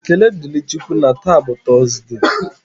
Ekele dịrị Chị Ukwu na taa bụ Tọọsde.